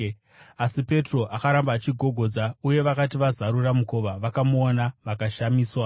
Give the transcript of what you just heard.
Asi Petro akaramba achigogodza, uye vakati vazarura mukova, vakamuona vakashamiswa.